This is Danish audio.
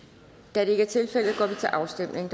da det ikke er tilfældet går vi til afstemning